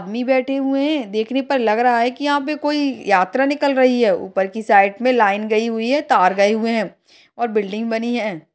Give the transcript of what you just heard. मी बैठे हुए है देखने पर लग रहा है की यहा पे कोई यात्रा निकल रही है ऊपर की साइड मे लाइन गयी हुई है तार गए हुए है और बिल्डिंग बनी है।